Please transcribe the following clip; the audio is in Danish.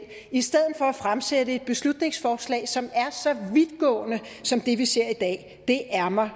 i stedet for at fremsætte et beslutningsforslag som er vidtgående som det vi ser i dag det er mig